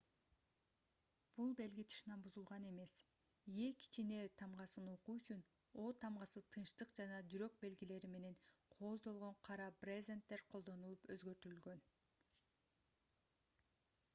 бул белги тышынан бузулган эмес е кичине тамгасын окуу үчүн о тамгасы тынчтык жана жүрөк белгилери менен кооздолгон кара брезенттер колдонулуп өзгөртүлгөн